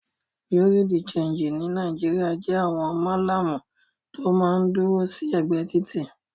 Bùréáù de ṣéńjì ní Nàìjíríà jẹ́ àwọn Málàmù tó máa ń dúró sí ẹ̀gbẹ́ títì.